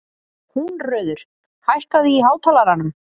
Húnröður, hækkaðu í hátalaranum.